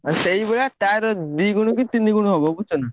ଆଉ ସେଇଭଳିଆ ତାର ଦିଗୁଣ କି ତିନି ଗୁଣ ହବ ବୁଝୁଛନା।